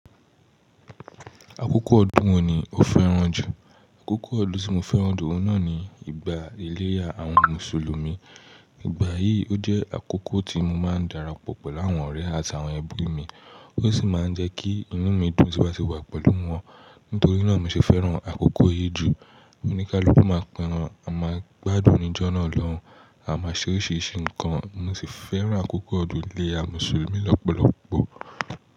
Àkókò ọdún wo ni o fẹ́ràn jù? Àkókò ọdún tí mo fẹ́ràn jù náà ni ìgbà ìlérí àwọn Mùsùlùmí. Ìgbà yìí ó jẹ́ àkókò tí mo máa ń darapọ̀ pẹ̀lú àwọn ọ̀rẹ́ àti àwọn ẹbí mi, ó sì máa ń jẹ́ kí inú mi dùn tí mo bá sì wà pẹ̀lú wọn. Nítorí náà mi ṣe fẹ́ràn àkókò yìí jù. Oníkálukú máa pa ẹran, a máa gbádùn ijó náà lọ́hùn-ún, a máa ṣe oríṣiríṣi nǹkan. Mo sì fẹ́ràn àkókò ọdún ilé àwọn Mùsùlùmí lọ́pọ̀lọ́pọ̀.